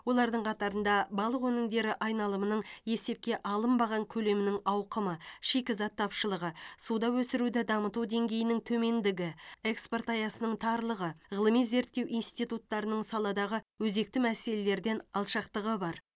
олардың қатарында балық өнімдері айналымының есепке алынбаған көлемінің ауқымы шикізат тапшылығы суда өсіруді дамыту деңгейінің төмендігі экспорт аясының тарлығы ғылыми зерттеу институттарының саладағы өзекті мәселелерден алшақтығы бар